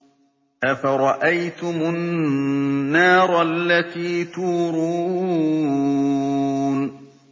أَفَرَأَيْتُمُ النَّارَ الَّتِي تُورُونَ